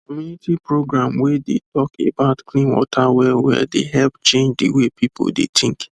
community program wey dey talk about clean water wellwell dey help change the way people de think